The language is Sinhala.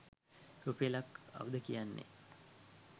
රුපියලක් කවුද කියන්නේ?